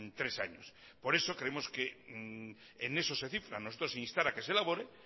tres años por eso creemos que en eso se cifra nosotros instar a que se elabore